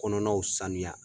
Kɔnɔnaw sanuya.